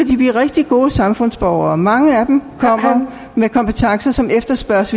de blive rigtig gode samfundsborgere mange af dem kommer med kompetencer som efterspørges